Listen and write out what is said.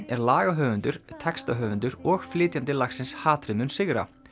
er lagahöfundur textahöfundur og flytjandi lagsins hatrið mun sigra